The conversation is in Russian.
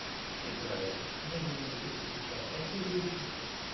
и правильно мы живём здесь и сейчас а те люди